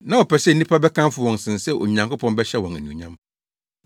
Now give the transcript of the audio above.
Na wɔpɛ sɛ nnipa bɛkamfo wɔn sen sɛ Onyankopɔn bɛhyɛ wɔn anuonyam.